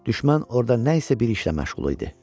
Düşmən orada nə isə bir işlə məşğul idi.